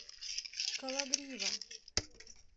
кологрива